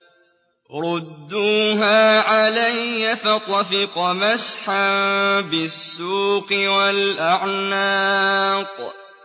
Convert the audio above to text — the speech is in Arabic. رُدُّوهَا عَلَيَّ ۖ فَطَفِقَ مَسْحًا بِالسُّوقِ وَالْأَعْنَاقِ